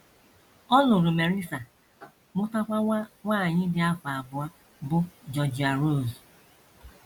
Ọ lụrụ Melissa, mụtakwa nwa nwanyị dị afọ abụọ, bụ́ Georgia Rose.